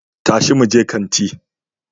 Tashi muje kanti